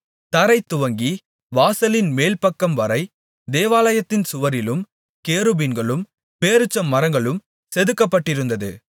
தரை துவங்கி வாசலின் மேல்பக்கம்வரை தேவாலயத்தின் சுவரிலும் கேருபீன்களும் பேரீச்சமரங்களும் செதுக்கப்பட்டிருந்தது